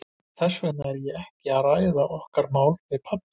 Þess vegna er ég ekkert að ræða okkar mál við pabba.